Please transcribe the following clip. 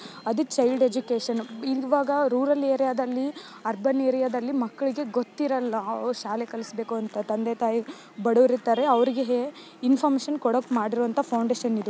ಅದು child education ಇವಾಗ rural ಏರಿಯಾದಲ್ಲಿ ಅರ್ಬನ್ ಏರಿಯಾದಲ್ಲಿ ಮಕ್ಕಳಿಗೆ ಗೊತ್ತಿರಲ್ಲ ಅವರು ಶಾಲೆಗೆ ಕಳಿಸಬೇಕು ಅಂತ ತಂದೆ ತಾಯಿ ಬಡುರ್ ಇರ್ತಾರೆ ಅವರಿಗೆ ಇನ್ಫಾರ್ಮಶನ್ ಕೊಡೋಕೆ ಮಾಡಿರೋ ಅಂತ ಫೌಂಡೇಶನ್ ಇದು.